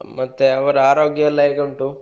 ಮತ್ತೆ ಅವರ ಆರೋಗ್ಯ ಎಲ್ಲ ಹೇಗೆ ಉಂಟು?